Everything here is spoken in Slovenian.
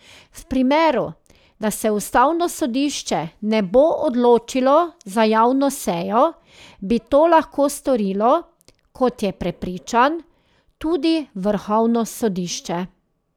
V primeru, da se ustavno sodišče ne bo odločilo za javno sejo, bi to lahko storilo, kot je prepričan, tudi vrhovno sodišče.